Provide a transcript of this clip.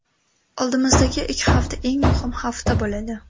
Oldimizdagi ikki hafta eng muhim hafta bo‘ladi.